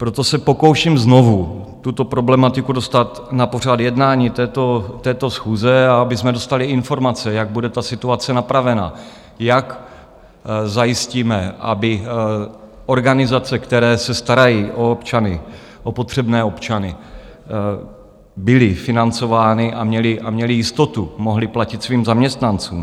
Proto se pokouším znovu tuto problematiku dostat na pořad jednání této schůze, a abychom dostali informace, jak bude ta situace napravena, jak zajistíme, aby organizace, které se starají o občany, o potřebné občany, byly financovány a měly jistotu, mohly platit svým zaměstnancům.